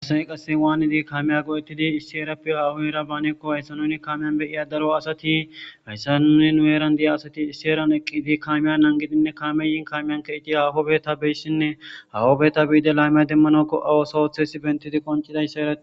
Maaghtha miizazi dalga keeththapoe kare kd'ashe dizaysa xeellashshe daysiko. Haysi maaththiza mizazi mathtas beetese.